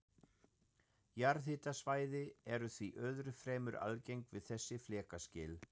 Jarðhitasvæði eru því öðru fremur algeng við þessi flekaskil.